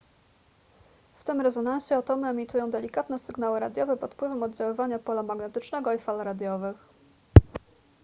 w tym rezonansie atomy emitują delikatne sygnały radiowe pod wpływem oddziaływania pola magnetycznego i fal radiowych